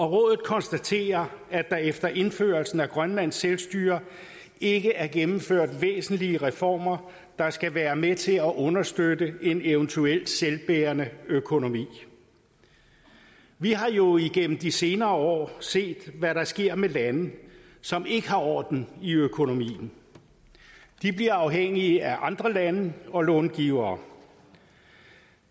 rådet konstaterer at der efter indførelsen af grønlandsk selvstyre ikke er gennemført væsentlige reformer der skal være med til at understøtte en eventuel selvbærende økonomi vi har jo gennem de senere år set hvad der sker med lande som ikke har orden i økonomien de bliver afhængige af andre lande og långivere